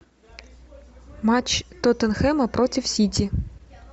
матч тоттенхэма против сити